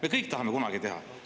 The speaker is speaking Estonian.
Me kõik tahame kunagi teha!